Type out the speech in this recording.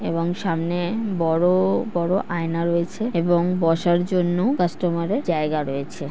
এবং সামনে বড় বড় আয়না রয়েছে এবং বসার জন্য কাস্টমার -এর জায়গা রয়েছে ।